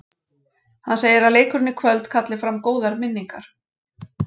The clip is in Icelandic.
Hann segir að leikurinn í kvöld kalli fram góðar minningar